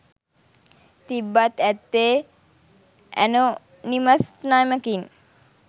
තිබ්බත් ඇත්තේ ඇනොනිමස් නමකින්